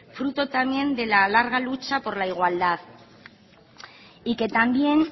fruto también de la larga lucha por la igualdad y que también